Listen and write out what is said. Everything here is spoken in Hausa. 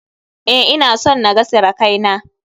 Eh, ina son na ga sirakai na.